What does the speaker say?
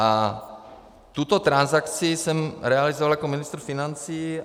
A tuto transakci jsem realizoval jako ministr financí.